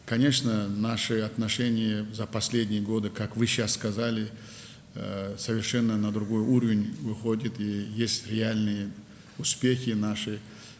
Əlbəttə, son illərdə münasibətlərimiz, sizin də qeyd etdiyiniz kimi, tamamilə başqa səviyyəyə qalxıb və real uğurlarımız var.